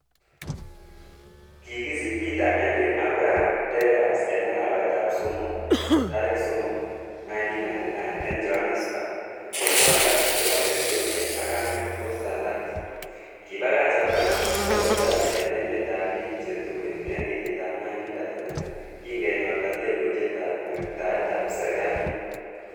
Kigisich Peter Henry Abrahams Deras en arawetab somok tarigit somok ,1919 en Johannesburg ko kwanda kobo Ethiopia ak kamet ko salat, Kibagach Abraham Murot Tai en Emetab bik che tuen en kenyitab 1939, kin kenyorta lelutietab kweng'taetab serkalit.